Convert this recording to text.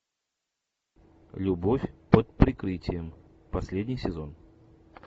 любовь под прикрытием последний сезон